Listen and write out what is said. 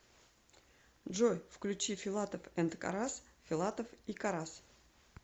джой включи филатов энд карас филатов и карас